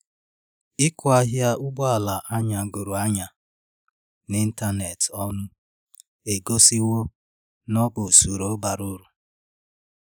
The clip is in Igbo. ikwe ahịa ụgbọ ala anyagoro anya n'ịntanetị ọnu egosiwo na ọ bụ usoro bara uru